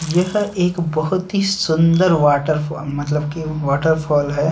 यह एक बहुत ही सुंदर वॉटरफॉल मतलब की वॉटरफॉल है।